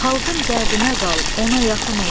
Xalqın dərdinə qal, ona yaxın ol.